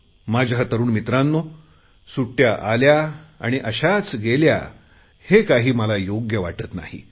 माझ्या तरुण मित्रांनो सुट्टया आल्या आणि अशाच गेल्या हे काही मला योग्य वाटत नाही